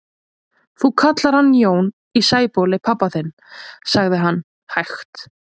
Þú kallar hann Jón í Sæbóli pabba þinn, sagði hann hægt.